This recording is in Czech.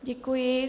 Děkuji.